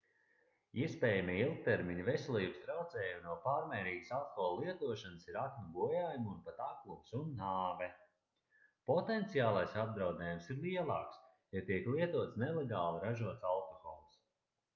iespējamie ilgtermiņa veselības traucējumi no pārmērīgas alkohola lietošanas ir aknu bojājumi un pat aklums un nāve potenciālais apdraudējums ir lielāks ja tiek lietots nelegāli ražots alkohols